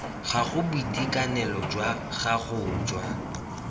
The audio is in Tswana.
gago boitekanelo jwa gago jwa